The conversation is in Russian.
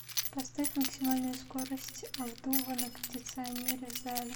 поставь максимальную скорость обдува на кондиционере в зале